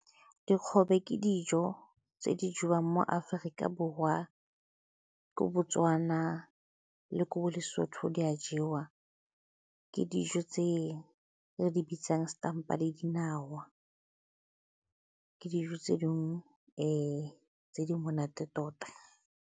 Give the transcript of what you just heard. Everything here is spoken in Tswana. Dikgobe ke dijo tse di jewang mo Aforika Borwa, ko Botswana le ko bo Lesotho di a jewa. Ke dijo tse re di bitsang setampa le dinawa, ke dijo tse dingwe tse di monate tota.